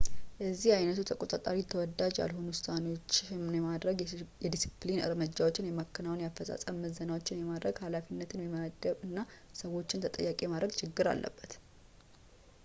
የዚህ ዓይነቱ ተቆጣጣሪ ተወዳጅ ያልሆኑ ውሳኔዎችን የማድረግ ፣ የዲሲፕሊን እርምጃዎችን የማከናወን ፣ የአፈፃፀም ምዘናዎችን የማድረግ ፣ ኃላፊነትን የመመደብ እና ሰዎችን ተጠያቂ የማድረግ ችግር አለበት